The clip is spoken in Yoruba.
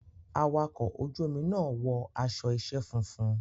Awakọ̀ ojú omi náà wọ aṣọ iṣẹ́ funfun.